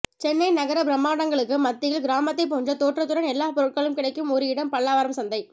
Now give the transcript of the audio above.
சென்னை நகர பிரம்மாண்டங்களுக்கு மத்தியில் கிராமத்தை போன்ற தோற்றத்துடன் எல்லா பொருட்களும் கிடைக்கும் ஒரு இடம் பல்லாவரம் சந்தை